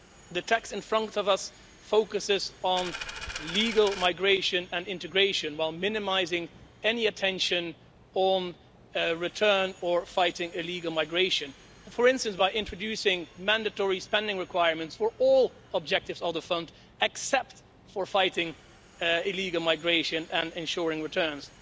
The text in front of us focuses on legal migration and integration while minimising any attention on returns and fighting illegal migration, for instance, by introducing mandatory spending requirements for all the fund objectives, except for fighting illegal migration and ensuring returns.